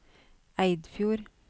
Eidfjord